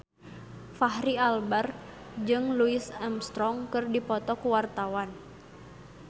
Fachri Albar jeung Louis Armstrong keur dipoto ku wartawan